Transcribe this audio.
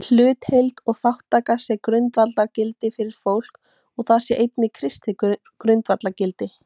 Hlutdeild og þátttaka sé grundvallargildi fyrir fólk og það sé einnig kristið grundvallargildi.